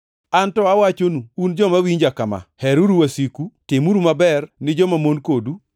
“Anto awachonu un joma winja kama: Heruru wasiku, timuru maber ni jomamon kodu.